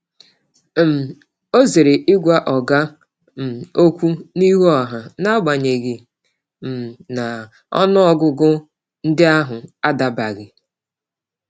um Ọ zere ịgwa oga um okwu n’ihu ọha, n’agbanyeghị um na ọnụọgụgụ ndị ahụ adabaghị.